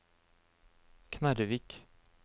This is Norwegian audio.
Knarrevik